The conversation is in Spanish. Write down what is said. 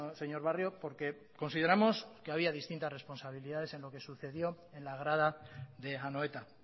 señor barrio porque consideramos que había distintas responsabilidades en lo que sucedió en la grada de anoeta